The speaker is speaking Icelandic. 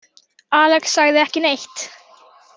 Alex sagði ekki neitt.